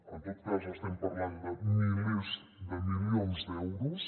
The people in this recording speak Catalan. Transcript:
en tot cas estem parlant de milers de milions d’euros